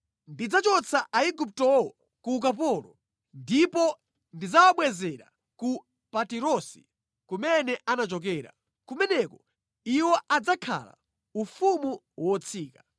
Ndidzachotsa Aiguptowo ku ukapolo ndipo ndidzawabwezera ku Patirosi kumene anachokera. Kumeneko iwo adzakhala ufumu wotsika.